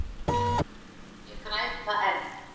Ég græt það enn.